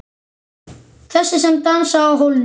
Þessi sem dansaði á hólnum.